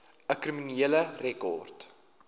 u kriminele rekord